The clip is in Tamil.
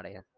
அட